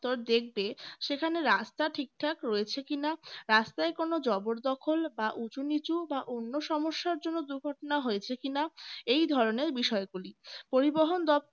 দেখবে সেখানে রাস্তা ঠিকঠাক রয়েছে কিনা রাস্তায় কোন জবরদখল বা উঁচু-নিচু বা অন্য সমস্যার জন্য দুর্ঘটনা হয়েছে কিনা এই ধরনের বিষয়গুলি পরিবহন দপ্তর